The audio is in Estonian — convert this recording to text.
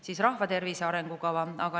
Siis on rahvatervise arengukava.